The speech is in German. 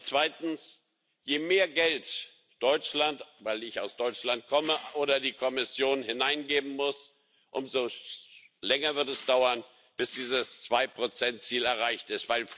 Zweitens Je mehr Geld Deutschland weil ich aus Deutschland komme oder die Kommission hineingeben muss, umso länger wird es dauern, bis dieses 2 Ziel erreicht ist, weil Friedens